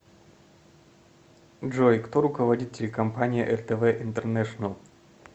джой кто руководит телекомпания ртв интернешенел